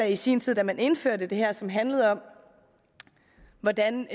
i sin tid da man indførte det her som handlede om hvordan